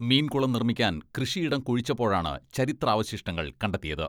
മീൻ കുളം നിർമ്മിക്കാൻ കൃഷിയിടം കുഴിച്ചപ്പോഴാണ് ചരിത്രാവശിഷ്ടങ്ങൾ കണ്ടെത്തിയത്.